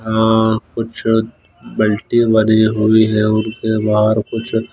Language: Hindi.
अ कुछ बेल्टें बने हुई हैं उनके बाहर कुछ--